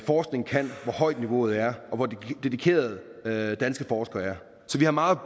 forskning kan hvor højt niveauet er og hvor dedikerede danske forskere er så vi har meget